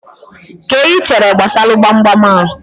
Kee ihe ichere gbasalu gbamgbam a?